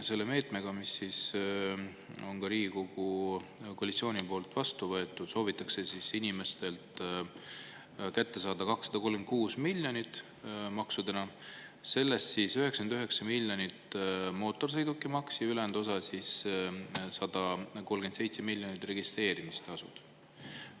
Selle maksuga, mis on Riigikogu koalitsiooni poolt vastu võetud, soovitakse inimestelt maksudena kätte saada 236 miljonit eurot, sellest 99 miljonit mootorsõidukimaks ja ülejäänud osa, 137 miljonit, registreerimistasud.